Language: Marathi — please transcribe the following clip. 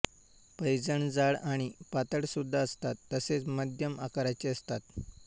पैंजण जाड आणि पातळ सुद्धा असतात तसेच मध्यम आकाराचे असतात